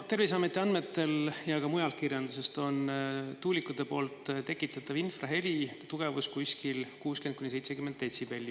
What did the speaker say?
Terviseameti andmetel – ka mujal kirjanduses – on tuulikute tekitatava infraheli tugevus 500 meetri kaugusel 60–70 detsibelli.